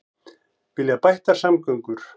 Vilja bættar samgöngur